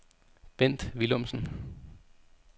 Bendt Willumsen